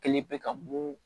Kelen bɛ ka bɔn